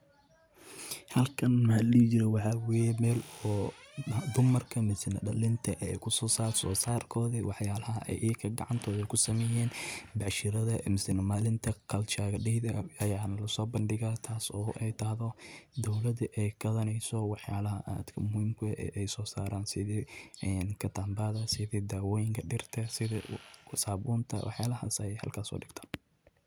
Halkan wa meel dumarka oo ama dhalinta ay kusosarto waxsosarkoda daywaxyaalaha ay gacantooda kusameyan bacshirada masne maninta culture day ay kuso bandhigan taas oo dowlada gadneyso waxyala aad muhimka ueh ay sosaran sidi kiramabada, dawooyinka dirta sidi sababta waxyalas ay halkas sodigtan.